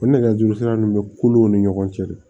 O nɛgɛjurusira nunnu bɛ kolonw ni ɲɔgɔn cɛ de